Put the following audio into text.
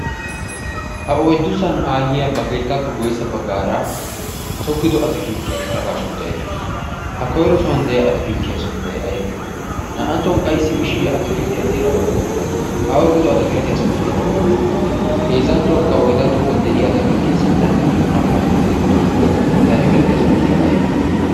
ha oyddusan aayyiya ba keettaappe guyyessa baggaara tokkido atakiilttiyaa sharafaa shooddayda daawus ha koyro suwan de'iya atakilttiya sunttay aybee naa''anttuwan qassi mishay atakilttiyaa xeeraa oyqada uttaasu ha oyqido atakilttiyaa sunttaykka oonee heezzanttuwaakka oydanttoogan de'iya atakilttiyaa sinttan naa''u maccasata eqqi uttidosona he atakilitiyaa sunttaykka aybee